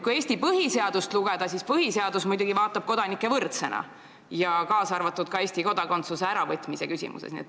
Kui Eesti põhiseadust lugeda, siis põhiseadus peab kõiki kodanikke võrdseks, kaasa arvatud Eesti kodakondsuse äravõtmise küsimuses.